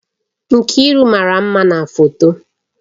Nkiru mara mma na foto